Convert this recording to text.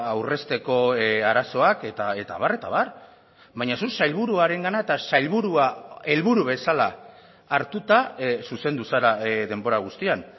aurrezteko arazoak eta abar eta abar baina zuk sailburuarengana eta sailburua helburu bezala hartuta zuzendu zara denbora guztian